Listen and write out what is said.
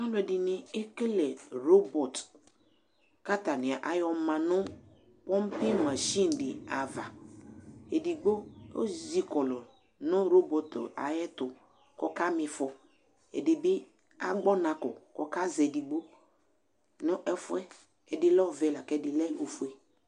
Alʊɛdini ekele robɔt, katanɩ ayɔma nʊ pompɩ mashɩnɩ dɩ ava Edɩgbo ezɩkɔlɔ nu robɔt aƴɛtu kɔkamifɔ Ɛdibɩ agbɔnakɔ kɔkazɛ ɛdɩbɩ nefʊɛ, ɛdi lɛ ɔvɛ akɛdɩ lɛ ofue